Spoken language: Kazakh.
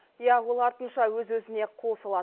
иә ол артынша өз өзіне қол салады